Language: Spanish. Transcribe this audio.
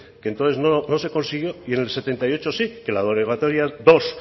que entonces no se consiguió y en el setenta y ocho sí que la derogatoria dos